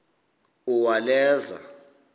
uwaleza